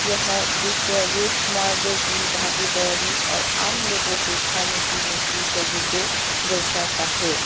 यह दृश्य रोज मार्ग की भागीदौड़ी और आम लोगों के खाने पीने की जगह को दर्शाता है।